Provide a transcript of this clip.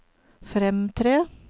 fremtre